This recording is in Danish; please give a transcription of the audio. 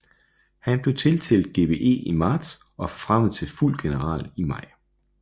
Han blev tildelt GBE i marts og forfremmet til fuld general i maj